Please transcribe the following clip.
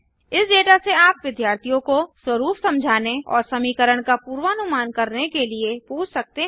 इस डेटा से आप विद्यार्थियों को स्वरुप समझने और समीकरण का पूर्वानुमान करने के लिए पूछ सकते हैं